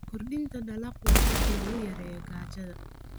Kordhinta dalaggu waa hab lagu yareeyo gaajada.